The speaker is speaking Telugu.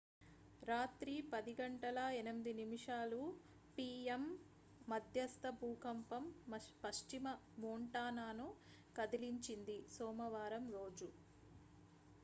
రాత్రి 10:08 పి.యం.మధ్యస్థ భూకంపం పశ్చిమ మోంటానాను కదిలించింది సోమవారం రోజు